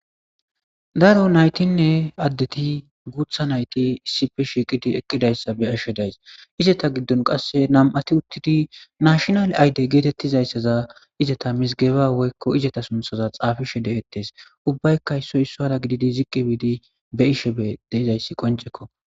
Daro nayitinne adettinne guththa nayitti issippe shiqidi eqidi dizayissa be'ashshe dayis.izeyta gidoppekka nam''ati uttidi national id getettiza izeta misigebba woyikko izeta suniththaza xaafishe detees.ubayikka issippe gididi be'ishshe dizayiss qonnicekko.